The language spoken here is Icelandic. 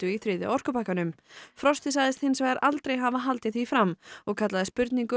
í þriðja orkupakkanum frosti sagðist hins vegar aldrei hafa haldið því fram og kallaði spurningu